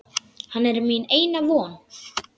Hann er mín eina von.